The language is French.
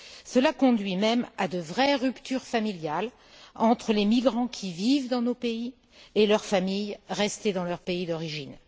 Cela conduit même à de vraies ruptures familiales entre les migrants qui vivent dans nos pays et leurs familles restées dans leur pays d'origine.